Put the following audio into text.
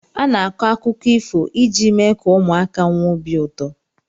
Ana-akọ akụkọ ifo iji mee ka ụmụaka nwee obi ụtọ.